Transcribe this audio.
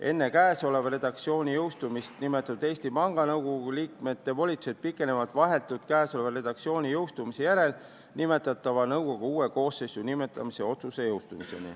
Enne käesoleva redaktsiooni jõustumist nimetatud Eesti Panga Nõukogu liikmete volitused pikenevad seniks, kuni jõustub vahetult käesoleva redaktsiooni jõustumise järel nimetatava nõukogu uue koosseisu nimetamise otsus.